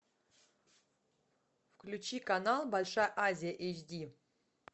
включи канал большая азия эйч ди